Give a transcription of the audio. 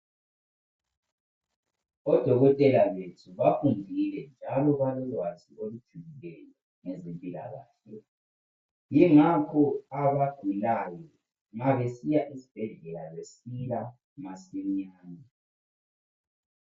Odokotela wethu bafundile njalo balolwazi olujulileyo ngezemphilakahle. Yingakho abagulayo nxa besiya esibhedlela besila masinyane.